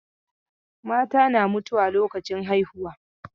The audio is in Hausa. Mata na mutuwa lokacin haihuwa.